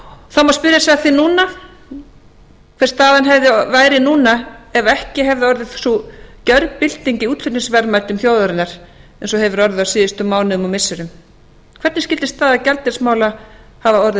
það má spyrja sig að því hver staðan væri núna ef ekki hefði orðið sú gerbylting í útflutningsverðmætum þjóðarinnar eins og hefur orðið á síðustu mánuðum og missirum hvernig skyldi staða gjaldeyrismála hafa orðið þá